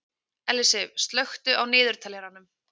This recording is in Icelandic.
Ellisif, slökktu á niðurteljaranum.